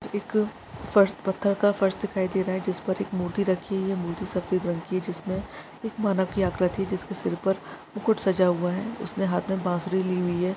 एक फर्श पत्थर का फर्श दिखाई दे रहा है जिस पर एक मूर्ति रखी हुई है मूर्ति सफेद रंग की है जिसमें एक मानव की आकृति जिसके सर पर मुकुट सजा हुआ है उसने हाथ बासुरी ली हुई है।